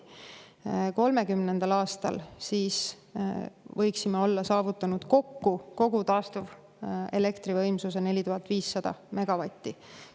2030. aastaks võiksime olla kokku saavutanud kogu taastuvelektri võimsuse – 4500 megavatti.